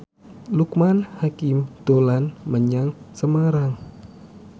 Loekman Hakim dolan menyang Semarang